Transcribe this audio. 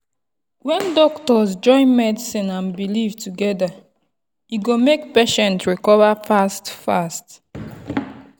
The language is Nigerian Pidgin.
when doctors join medicine and belief together e go make patient recover fast-fast.